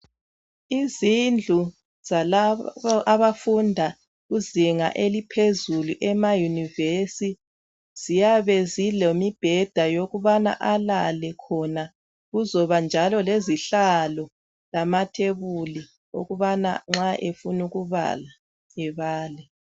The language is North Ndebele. Izindlu zalabo abafunda kuzinga eliphezulu emayinuvesi. Ziyabe zilemibheda yokubana alale khona. Kuzoba njalo lezihlalo lamathebuli ukubana nxa efuna ekubala ebale.